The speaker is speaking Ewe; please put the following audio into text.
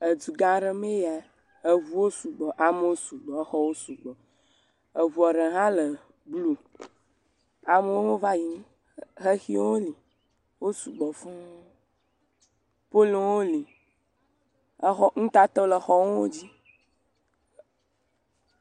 Edu gã aɖe mee ya. Eŋuwo su gbɔ. Amewo su gbɔ. Exɔwo su gbɔ. Eŋua ɖe hã le blu. Amewo va yim. Xexiwo hã li wo sugbɔ fũu. Poliwo hã li. Exɔ. Nutatawo le exɔwo dzi.